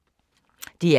DR K